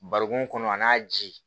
Barikon kɔnɔ a n'a ji